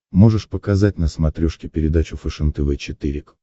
можешь показать на смотрешке передачу фэшен тв четыре к